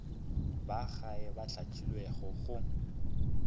ba gae ba hlahlilwego go